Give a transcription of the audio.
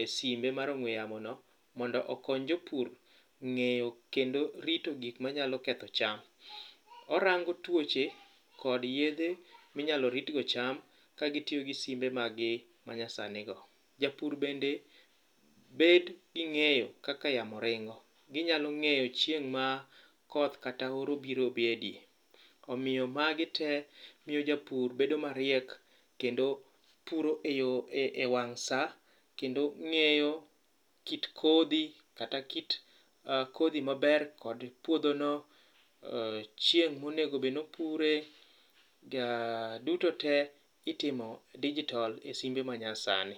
e simbe mar ong'we yamono mondo okony jopur ng'eyo kendo rito gik manyalo ketho cham. Orango tuoche kod yedhe minyalo ritgo cham kagitiyo gi simbe magi manyasani go. Japur bende bet gi ng'eyo kaka yamo ringo. Ginyalo ng'eyo chieng' ma koth kata oro biro bedye omiyo magi tee miyo japur bedo mariek kendo puro e wang' sa kendo ng'eyo kit kodhi kata kit kodhi maber kod puodhono, chieng' monegobed nopure. Duto te itimo dijitol e simbe manyasani.